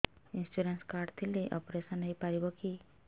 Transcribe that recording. insurance card ଥିଲେ operation ହେଇପାରିବ କି